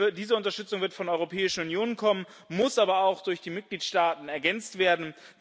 Diese Unterstützung wird von der Europäischen Union kommen, muss aber auch durch die Mitgliedstaaten ergänzt werden.